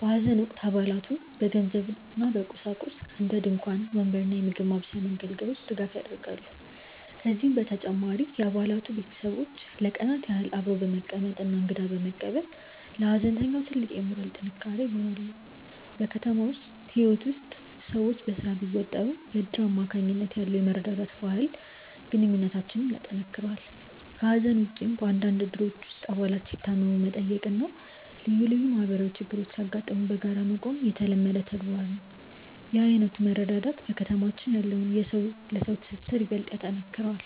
በሐዘን ወቅት አባላቱ በገንዘብና በቁሳቁስ (እንደ ድንኳን፣ ወንበር እና የምግብ ማብሰያ መገልገያዎች) ድጋፍ ያደርጋሉ። ከዚህም በተጨማሪ የአባላቱ ቤተሰቦች ለቀናት ያህል አብረው በመቀመጥና እንግዳ በመቀበል ለሐዘንተኛው ትልቅ የሞራል ጥንካሬ ይሆናሉ። በከተማ ህይወት ውስጥ ሰዎች በስራ ቢወጠሩም፣ በእድር አማካኝነት ያለው የመረዳዳት ባህል ግንኙነታችንን ያጠናክረዋል። ከሐዘን ውጭም፣ በአንዳንድ እድሮች ውስጥ አባላት ሲታመሙ መጠየቅና ልዩ ልዩ ማህበራዊ ችግሮች ሲያጋጥሙ በጋራ መቆም የተለመደ ተግባር ነው። ይህ ዓይነቱ መረዳዳት በከተማችን ያለውን የሰው ለሰው ትስስር ይበልጥ ያጠነክረዋል።